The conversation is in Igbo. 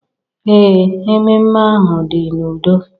Ee, mmemme ahụ dị n'udo.